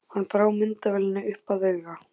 Hann brá myndavélinni upp að auga.